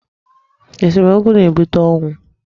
Esomokwu na-ebute ọnwụ.